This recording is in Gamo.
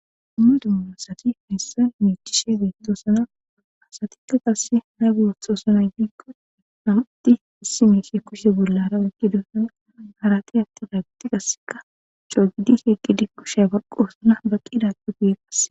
dummu dumma asati hayssan miicishezeentosana hasatikka qasse nagu wothosanay biikko namati issi meeshe kushe bollara waqqidosana harate atte daagiti qasseka coogidi heqqidi kusheya barqosana baqqidadu giye qasse